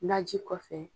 Naji kɔfɛ